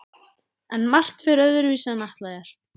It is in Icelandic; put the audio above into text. En margt fer öðruvísi en ætlað er.